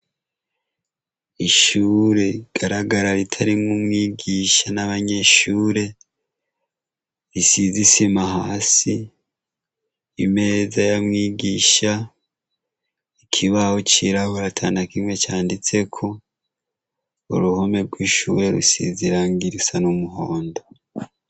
Ishure rigaragara, ritarimwo umwigisha n'abanyeshure, risize isima hasi, imeza ya mwigisha, ikibaho cirabura atanakimwe canditseko, uruhome rw'ishure rusize ibara risa n'umuhondo.